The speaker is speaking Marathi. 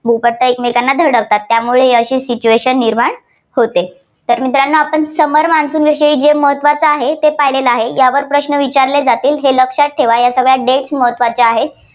भूपट्टा एकमेकांना धडकतात. त्यामुळे अशी situation निर्माण होते. तर मित्रांनो आपण summer monsoon विषयी जे महत्त्वाचं आहे ते पाहिलेलं आहे. यावर प्रश्न विचारले जातील, हे लक्षात ठेवा. या सगळ्या dates महत्त्वाच्या आहेत.